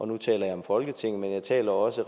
nu taler jeg om folketinget men jeg taler også